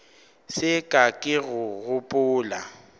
se ka ke ka gopola